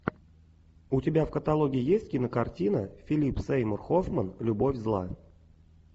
у тебя в каталоге есть кинокартина филип сеймур хоффман любовь зла